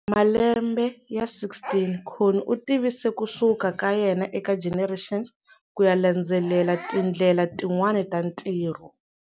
Malembe ya 16, Connie u tivise ku suka ka yena eka Generations ku ya landzelela tindlela tin'wana ta ntirho.